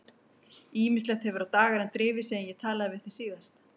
Ýmislegt hefur á dagana drifið síðan ég talaði við þig síðast.